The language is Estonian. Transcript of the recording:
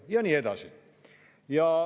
Ja nii edasi.